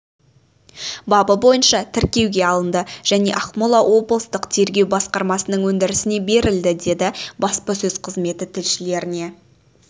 бабы бойынша тіркеуге алынды және ақмола облыситық тергеу басқармасының өндірісіне берілді деді баспасөз қызметі тілшілеріне